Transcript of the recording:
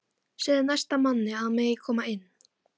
Segðu næsta manni að hann megi koma inn